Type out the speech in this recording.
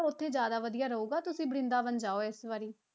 ਉੱਥੇ ਜ਼ਿਆਦਾ ਵਧੀਆ ਰਹੇਗਾ, ਤੁਸੀਂ ਬਰਿੰਦਾਬਨ ਜਾਓ ਇਸ ਵਾਰੀ।